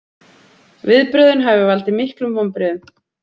Viðbrögðin hafi valdið miklum vonbrigðum